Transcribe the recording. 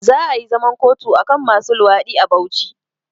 Za ayi zaman kotu akan masu luwaɗi a Bauchi